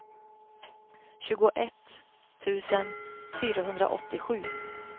tjugoett tusen fyrahundraåttiosju